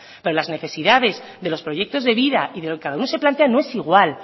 pero las necesidades de los proyectos de vida y de lo que cada uno se plantea no es igual